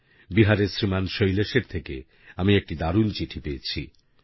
বিহারের শ্রীমান শৈলেশের থেকে আমি একটি দারুণ চিঠি পেয়েছি